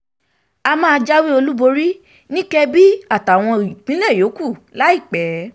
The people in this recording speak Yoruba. a máa jáwé olúborí um ní adamawa kebbi àtàwọn ìpínlẹ̀ yòókù um láìpẹ́